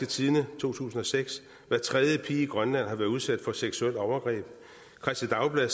tidende 2006 hver tredje pige i grønland har været udsat for seksuelt overgreb kristeligt dagblad